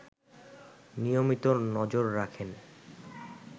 নিয়মিত নজর রাখেন